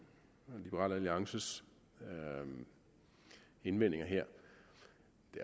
liberal alliances indvendinger her